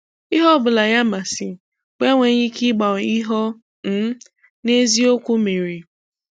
Ihe ọ̀bụ̀la ya mmasì bụ enweghị ike ịgbanwe ihe ọ um n’eziokwu mere.